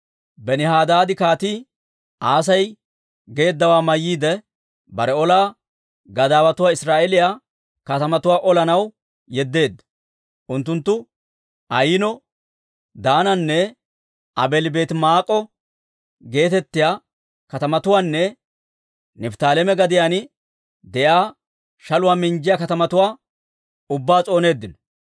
Benihadaadi Kaatii Asay geeddawaa mayyiide, bare ola gadaawotuwaa Israa'eeliyaa katamatuwaa olanaw yeddeedda. Unttunttu Ayino, Daananne Aabeeli-Beetimaa'ika geetettiyaa katamatuwaanne Nifttaaleema gadiyaan de'iyaa shaluwaa minjjiyaa katamatuwaa ubbaa s'ooneeddino.